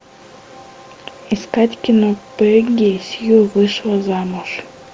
искать кино пегги сью вышла замуж